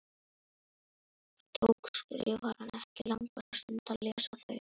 Það tók Skrifarann ekki langa stund að lesa þau.